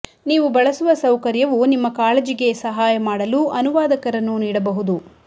ನೀವು ಬಳಸುವ ಸೌಕರ್ಯವು ನಿಮ್ಮ ಕಾಳಜಿಗೆ ಸಹಾಯ ಮಾಡಲು ಅನುವಾದಕರನ್ನು ನೀಡಬಹುದು